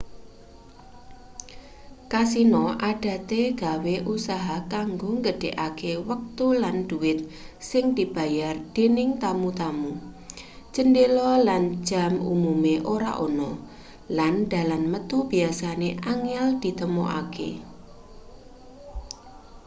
kasino adate gawe usaha kanggo nggedhekke wektu lan dhuwit sing dibayar dening tamu-tamu cendhela lan jam umume ora ana lan dalan metu biyasane angel ditemokake